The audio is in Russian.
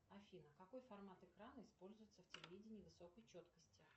афина какой формат экрана используется в телевидении высокой четкости